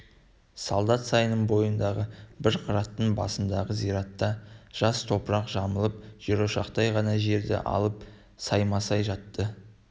солдат сайының бойындағы бір қыраттың басындағы зиратта жас топырақ жамылып жерошақтай ғана жерді алып саймасай жатты